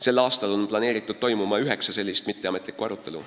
Sel aastal peaks toimuma üheksa sellist mitteametlikku arutelu.